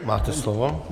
Máte slovo.